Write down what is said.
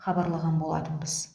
хабарлаған болатынбыз